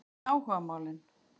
Hvað með áhugamálin?